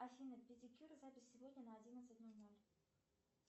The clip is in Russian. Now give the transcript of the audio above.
афина педикюр запись сегодня на одиннадцать ноль ноль